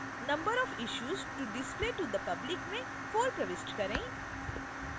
number of issues to display to the public में 4 प्रविष्ट करें